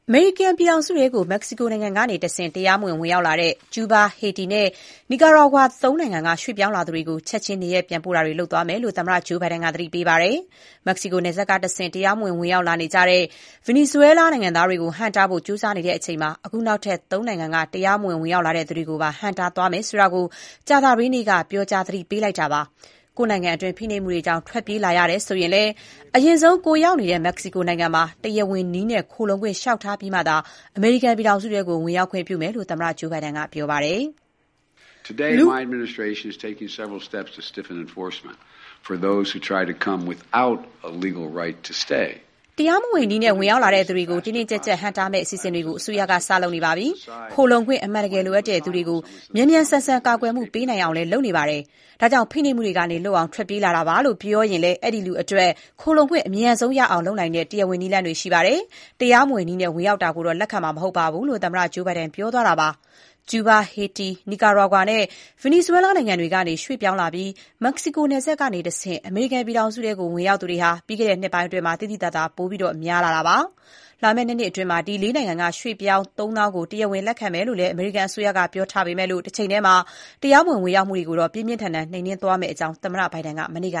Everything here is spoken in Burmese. မေရိကန်ပြည်ထောင်စုထဲကို မက္ကဆီကိုနယ်စပ်ကနေတဆင့် တရားမဝင် ဝင်ရောက်လာတဲ့ ကျူးဘား၊ ဟေတီနဲ့ နီကာရာဂွါ ၃ နိုင်ငံက ရွှေ့ပြောင်းလာသူတွေကို ချက်ခြင်း နေရပ်ပြန်ပို့သွားမယ်လို့ သမ္မတဘိုင်ဒန်က သတိပေးလိုက်တယ်။ မက္ကဆီကိုနယ်စပ် ကတဆင့် တရားမဝင် ဝင်ရောက်လာနေတဲ့ ဗင်နီဇွဲလားတွေကိုဟန့်တားဖို့ ကြိုးစားနေချိန်မှာ အခုနောက်ထပ် ၃ နိုင်ငံက တရားမဝင် ဝင်ရောက်သူတွေကိုပါ ဟန့်တားသွားမယ် ဆိုတာ ကြာသပတေးနေ့က ပြောကြားအသိပေးခဲ့တာပါ။ ကိုယ့်နိုင်ငံတွင်း ဖိနှိပ်မှုတွေကြောင့် ထွက်ပြေးလာရတယ်ဆိုရင်လည်း အရင်ဆုံး ကိုယ်ရောက်နေတဲ့မက္ကဆီကိုနိုင်ငံမှာ တရားဝင်နည်းနဲ့ ခိုလုံခွင့်လျှောက်ထားပြီးမှသာ အမေရိကန်ပြည်ထောင်စုထဲ ဝင်ရောက်ခွင့် ပြုမယ့်အကြောင်း သမ္မတဂျိုးဘိုင်ဒန်က ပြောပါတယ်။ "တရားမဝင်နည်းနဲ့ ဝင်ရောက်လာသူတွေကို တင်းတင်းကျပ်ကျပ်ဟန့်တားမယ့် အစီအစဉ်တွေကို အစိုးရက စ လုပ်နေပြီ။ ခိုလှုံခွင့် အမှန်တကယ်လိုအပ်သူတွေကို မြန်မြန်ဆန် ဆန် ကာကွယ်မှုပေးနိုင်အောင်လည်း လုပ်နေပါတယ်။ ဒါကြောင့် ဖိနှိပ်မှုတွေကနေ လွတ်အောင် ထွက်ပြေးလာတာပါလို့ပြောရင် အဲ့ဒီလူအတွက် ခိုလှုံခွင့် အမြန်ဆုံးရအောင် လုပ်နိုင်တဲ့ တရားဝင်နည်းလမ်းတွေ ရှိနေပါတယ်။ တရားမဝင်နည်းနဲ့ ဝင်ရောက်တာကိုတော့ လက်ခံမှာမဟုတ်ဘူး”-လို့ အမေရိကန်သမ္မတ ဂျိုးဘိုင်ဒန်က ပြောသွားတာပါ။ ကျူးဘား၊ ဟေတီ၊ နီကာရာဂွါနဲ့ ဗင်နီဇွဲလားနိုင်ငံတွေကနေ ရွှေ့ပြောင်းလာပြီး မက္ကဆီကို နယ်စပ်ကနေတဆင့် အမေရိကန်ပြည်ထောင်စုထဲ ဝင်ရောက်သူ ပြီးခဲ့တဲ့နှစ်ပိုင်းအတွင်း သိသိသာသာ ပိုများလာနေတာပါ။ လာမယ့် ၂ နှစ်အတွင်း ဒီ ၄ နိုင်ငံက ရွှေ့ပြောင်း ၃ သောင်းကို တရားဝင်လက်ခံမယ့်အကြောင်းလည်း အမေရိကန်အစိုးရက ပြောဆိုထားတဲ့ တချိန်တည်းမှာ မတရားမဝင် ဝင်ရောက်မှုတွေကိုတော့ ပြင်းပြင်းထန်ထန် နှိမ်နင်းသွားမယ့်အကြောင်း သမ္မတဘိုင်ဒန်က မနေ့က